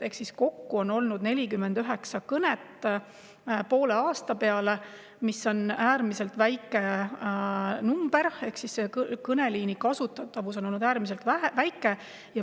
Ehk siis kokku on poole aasta peale olnud 49 kõnet, mis on äärmiselt väike number, ehk selle kõneliini kasutatavus on olnud äärmiselt väike.